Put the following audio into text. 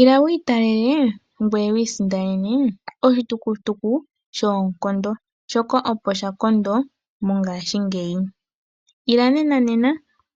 Ila wiitalele ngwee wiisindanene oshitukutuku shoonkondo, shoka opo sha kondo mongashingeyi. Ila nena nena